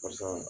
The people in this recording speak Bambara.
Karisa